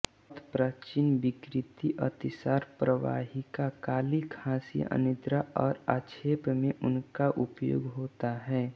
अत पाचनविकृति अतिसार प्रवाहिका काली खाँसी अनिद्रा और आक्षेप में इनका उपयोग होता है